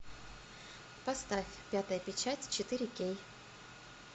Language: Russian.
поставь пятая печать четыре кей